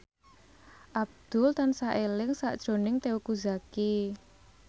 Abdul tansah eling sakjroning Teuku Zacky